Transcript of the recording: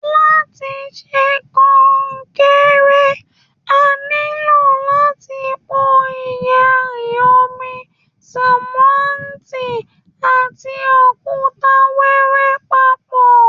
Láti ṣe kọnkéré, a ní lò láti pò iyanrìn, omi, sánmọ́ntì, and òkúta wiwẹ papọ.